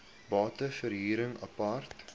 bate verhuring apart